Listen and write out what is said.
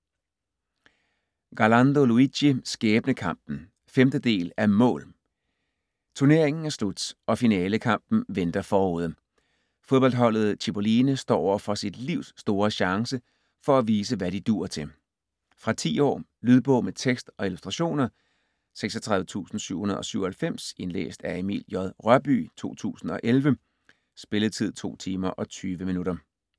Garlando, Luigi: Skæbnekampen 5. del af Mål!. Turneringen er slut, og finalekampen venter forude. Fodboldholdet Cipolline står overfor sit livs store chance for at vise, hvad de duer til. Fra 10 år. Lydbog med tekst og illustrationer 36797 Indlæst af Emil J. Rørbye, 2011. Spilletid: 2 timer, 20 minutter.